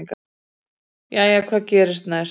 jæja hvað gerist næst